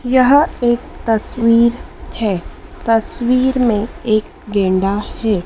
यह एक तस्वीर है तस्वीर में एक गैंडा है।